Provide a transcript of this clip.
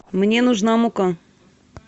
мне нужна мука